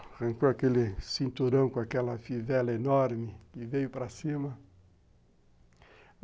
Arrancou aquele cinturão com aquela fivela enorme e veio para cima.